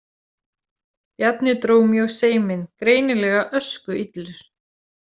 Bjarni dró mjög seiminn, greinilega öskuillur.